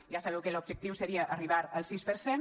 ja sabeu que l’objectiu seria arribar al sis per cent